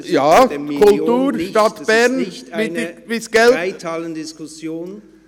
Wir sind bei der Million und nicht bei einer Reithallendiskussion.